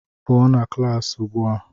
pụọ na klaasị ugbu a!